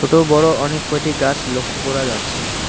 ছোটো বড়ো অনেক কয়টি গাছ লক্ষ্য করা যাচ্ছে।